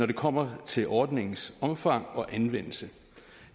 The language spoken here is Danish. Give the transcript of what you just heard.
det kommer til ordningens omfang og anvendelse